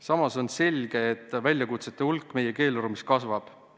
Samas on selge, et väljakutsete hulk meie keeleruumis kasvab.